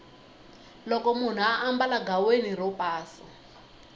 loko munhu ambala ghaweni ro pasa